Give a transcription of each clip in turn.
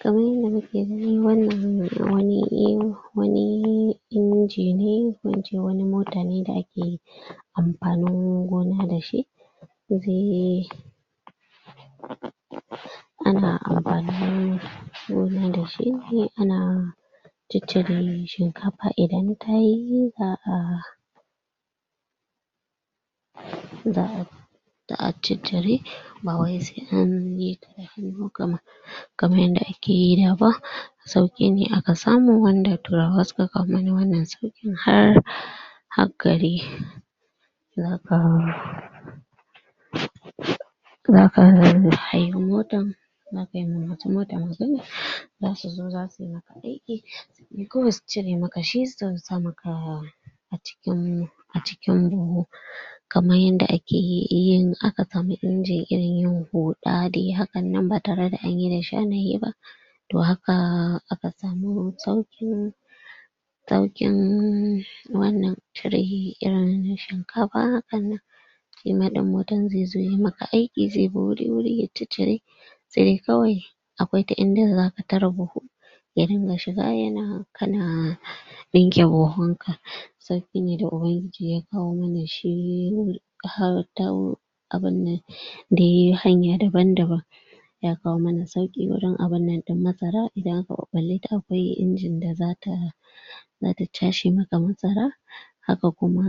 Kaman yanda muke gani wannan wani, wani inji ne, ko in ce wani mota ne da ake yi amfanin gona da shi. Ana amfanin gona da shi, ana ciccire shinkafa idan tayi, za'a za'a za'a ciccire bawai sai anyi kaman yanda ake yi da ba. Sauƙi ne aka samu wanda turawa suka kawo mana wannan sauƙi har hak ka dai za ka Za ka haye motan za ka yi ma masu mota magana, za su zo za su yi aiki dole su cire maka shi su zo su sa maka a cikin buhu. Kaman yanda ake yi in aka samun injin irin huɗa dai hakan nan ba tare da anyi da shanaye ba. To haka aka samu sauƙi sauƙin wannan cire irin na shinkafa hakan nan. Shi ma ɗin mutum zai zo ya maka aiki, zai biɗi wuri ya ciccire sai kawai akwai ta inda za ka tara buhu ya dinga shiga ya na, ka na ɗinke buhun ka. Sauƙi ne da Ubangiji ya kawo mana shi har ta abun nan da yayi hanya daban-daban. Ya kawo muna sauƙi wurin abun nan ɗin ma sara idan aka ɓaɓɓalle ta akwai inji da za ta za ta cashe maka masara. Haka kuma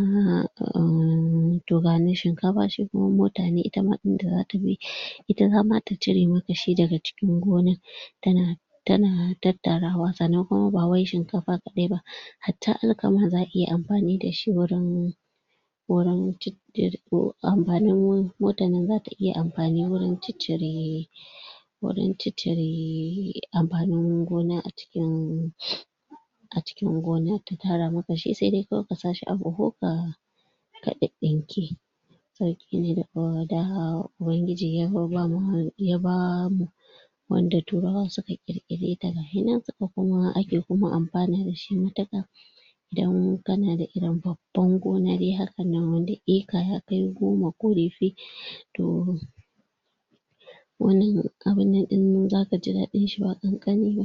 um to ga na shinkafa shi kuma mota ne, ita ma inda za ta bi ita zama ta cire maka shi daga cikin gonar. Ta na, ta na tattarawa, sannan kuma ba wai shinkafa kaɗai ba, hatta alkama za'a iya amfani da shi wurin wurin ciccire to amfanin motan nan za ta iya amfani wurin ciccire wurin ciccire amfanin gona a cikin a cikin gona ta tara maka shi, sai dai kawai ka sa shi a buhu ka ka ɗiɗɗinke. Sauƙi ne daga da Ubangiji ya babba ma, ya ba mu. Wanda turawa suka ƙir-ƙire ta ga shi nan kuma ake kuma amfana da shi matuƙa. Idan ka na da irin babban gona dai haka ka na da eka ya kai goma ko yafi to wannan abun nan ɗin zaka ji daɗin shi ba ƙanƙani ba.